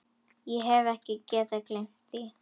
Hef ekki getað gleymt því.